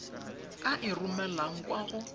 a e romelang kwa go